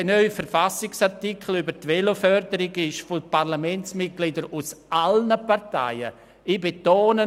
Dieser neue Verfassungsartikel über die Veloförderung wurde von Parlamentsmitgliedern aus allen Parteien gutgeheissen.